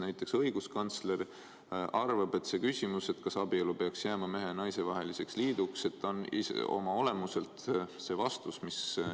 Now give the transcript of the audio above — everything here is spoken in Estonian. Näiteks õiguskantsler arvab, et küsimus, kas abielu peaks jääma mehe ja naise vaheliseks liiduks, on ise oma olemuselt vastus.